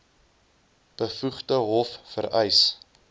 bevoegde hof vereis